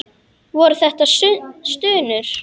Voru þetta stunur?